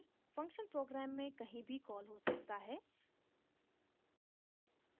function programme में कहीं भी कॉल हो सकता है